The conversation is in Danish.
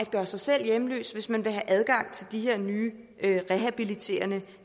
gøre sig selv hjemløs hvis man vil have adgang til de her nye rehabiliterende